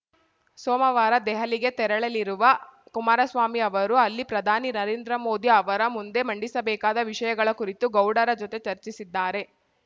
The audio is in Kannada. ಸೋಮವಾರ ದೆಹಲಿಗೆ ತೆರಳಲಿರುವ ಕುಮಾರಸ್ವಾಮಿ ಅವರು ಅಲ್ಲಿ ಪ್ರಧಾನಿ ನರೇಂದ್ರ ಮೋದಿ ಅವರ ಮುಂದೆ ಮಂಡಿಸಬೇಕಾದ ವಿಷಯಗಳ ಕುರಿತು ಗೌಡರ ಜೊತೆ ಚರ್ಚಿಸಿದ್ದಾರೆ